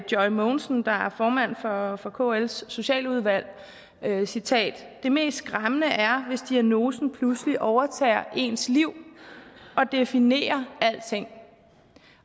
joy mogensen der er formand for for kls socialudvalg og jeg citerer det mest skræmmende er hvis diagnosen pludselig overtager ens liv og definerer alting